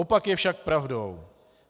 Opak je však pravdou.